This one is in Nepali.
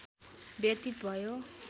व्यतीत भयो